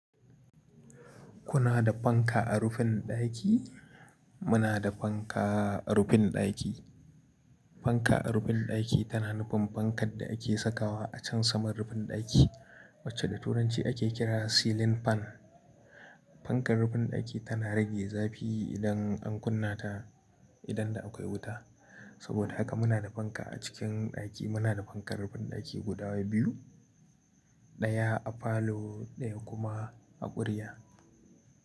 Kuna da fanka a rufin ɗaki? Muna da fanka a rufin ɗaki. Fanka a rufin ɗaki tana nufin fankar da ake sakawa a can saman rufin ɗaki, wacce da Turanci ake kira ceiling fan. Fankar rufin ɗaki tana rage zafi idan an kunna ta idan da akwai wuta. Saboda haka muna da fanka a cikin ɗaki. Muna da fankar rufin ɗaki guda biyu, ɗaya a falo, ɗaya kuma a ƙurya.